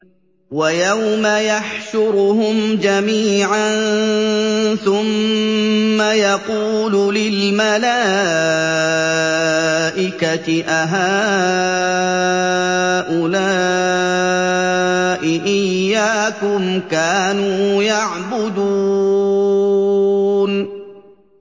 وَيَوْمَ يَحْشُرُهُمْ جَمِيعًا ثُمَّ يَقُولُ لِلْمَلَائِكَةِ أَهَٰؤُلَاءِ إِيَّاكُمْ كَانُوا يَعْبُدُونَ